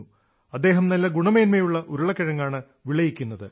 അദ്ദേഹം നല്ല ഗുണമേന്മയുള്ള ഉരുളക്കിഴങ്ങാണ് വിളയിക്കുന്നത്